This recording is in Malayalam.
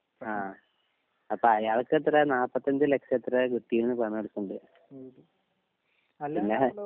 ആ അപ്പൊ അയാൾക്കത്രേ നാപ്പത്തഞ്ച് ലക്ഷത്രേ കിട്ടീന്ന് പറഞ്ഞ് നടക്ക്ണ്ട് പിന്നെ